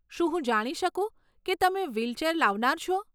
શું હું જાણી શકું કે તમે વ્હીલચેર લાવનાર છો?